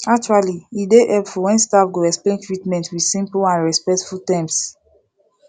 actually e dey hepful wen staf go explain treatment with simple and respectful terms